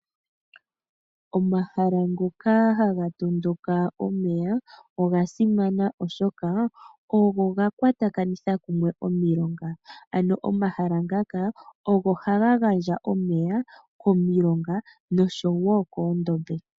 Omahala ngoka haga tondoka omeya oga simana oshoka ogo ga kwatakanitha kumwe omilonga. Ano omahala ngaka ogo haga gandja omeya komilonga noshowo koondombe.